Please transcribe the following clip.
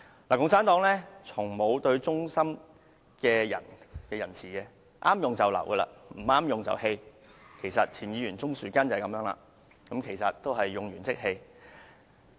共產黨從沒仁慈對待忠心的人，合用便留，不合用便棄，就如前議員鍾樹根，同樣是"用完即棄"。